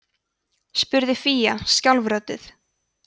spurði fía skjálfrödduð